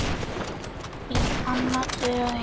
Þín Anna Döggin.